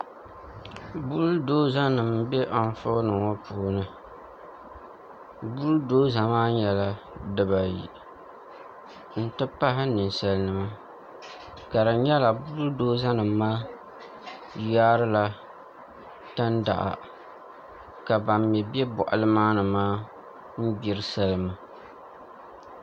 Bull doza nim n bɛ anfooni ŋo puuni bull doza maa nyɛla dibayi n ti pahi ninsal nima ka di nyɛla bull doza nim maa taarila tandaɣa ka ban mii bɛ boɣali maa ni maa gbiri salima